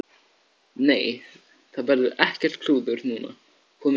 Nei, það verður ekkert klúður núna, komið nóg af slíku.